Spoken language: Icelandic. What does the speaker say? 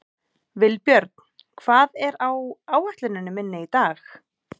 Vilbjörn, hvað er á áætluninni minni í dag?